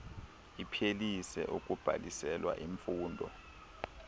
iphelise ukubhaliselwa imfundo